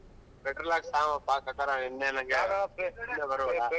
Petrol ಹಾಕ್ಸು ಸಾಕು ಇನ್ನ ಏನ್ .